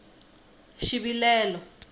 xivilelo